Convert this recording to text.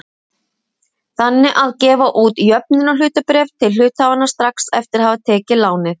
þannig að gefa út jöfnunarhlutabréf til hluthafanna strax eftir að hafa tekið lánið.